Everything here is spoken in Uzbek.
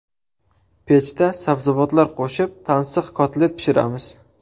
Pechda sabzavotlar qo‘shib tansiq kotlet pishiramiz.